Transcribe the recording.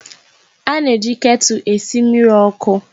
A na-eji ketụl esi mmiri ọkụ.